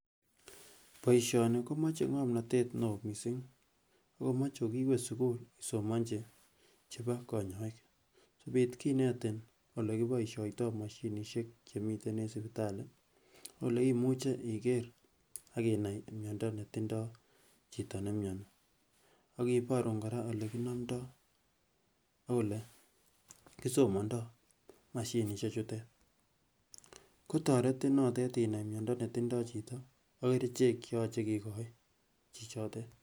boisyoni komoche ngomnotet neoo missing akomoche kokiiwe sukul isomonji chebo konyoik asikobiit kinetin olekiboisyoitoo moshinisiek chemiten eng sipitali ak oleimuche iker ak inai miondo netinndoo chito nemyonii ak kiborun kora olekinomdoo ak ole kisomondoo moshinisiek chutet kotoretin notet inai myondo netindoi chito ak kerichek cheyoche kikochi chichotet